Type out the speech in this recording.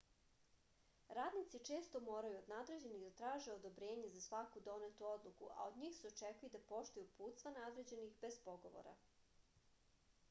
radnici često moraju od nadređenih da traže odobrenje za svaku donetu odluku a od njih se očekuje i da poštuju uputstva nadređenih bez pogovora